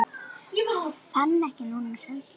Fann ekki til hræðslu núna.